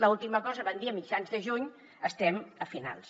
l’última cosa van dir a mitjans de juny estem a finals